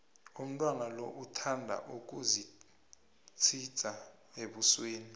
umntwana lo uthanda ukuzithsidza ebusweni